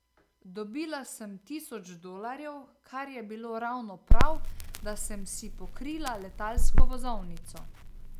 Dobila sem tisoč dolarjev, kar je bilo ravno prav, da sem si pokrila letalsko vozovnico.